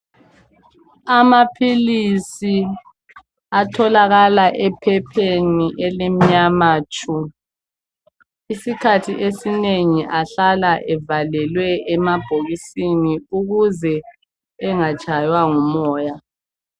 Amaphilisi atholakala ephepheni elimnyama tshu! Isikhathi esinengi ahlala evalelwe emabhokisini. Ukuze engatshaywa ngumoya.